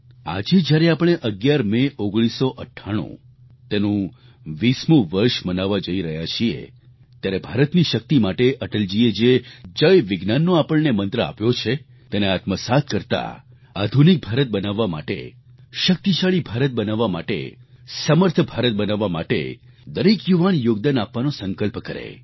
આજે જ્યારે આપણે 11 મે 1998 તેનું 20મું વર્ષ મનાવવા જઈ રહ્યા છીએ ત્યારે ભારતની શક્તિ માટે અટલજીએ જે જયવિજ્ઞાનનો આપણને મંત્ર આપ્યો છે તેને આત્મસાત કરતા આધુનિક ભારત બનાવવા માટે શક્તિશાળી ભારત બનાવવા માટે સમર્થ ભારત બનાવવા માટે દરેક યુવાન યોગદાન આપવાનો સંકલ્પ કરે